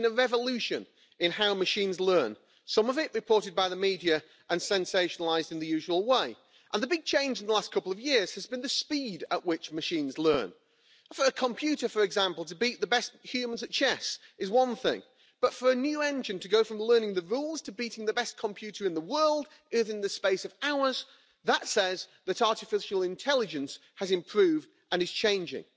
We have seen a revolution in how machines learn, some of it reported by the media and sensationalised in the usual way, and the big change in the last couple of years has been the speed at which machines learn. For a computer, for example, to beat the best humans at chess is one thing, but for a new engine to go from learning the rules to beating the best computer in the world in the space of hours, that says that artificial intelligence has improved and is changing.